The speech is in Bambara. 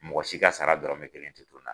Mɔgɔ si ka sara dɔrɔmɛ kelen tɛ to n na.